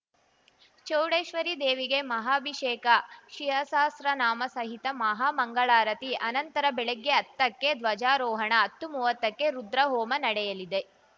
ಚೌಡೇಶ್ವರಿ ದೇವಿಗೆ ಮಹಾಭಿಷೇಕ ಶಿವಸಹಸ್ರ ನಾಮ ಸಹಿತ ಮಹಾ ಮಂಗಳಾರತಿ ಆನಂತರ ಬೆಳಗ್ಗೆ ಹತ್ತಕ್ಕೆ ಧ್ವಜಾರೋಹಣ ಹತ್ತುಮುವತ್ತಕ್ಕೆ ರುದ್ರಹೋಮ ನಡೆಯಲಿದೆ